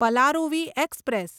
Palaruvi express